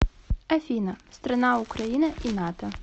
афина страна украина и нато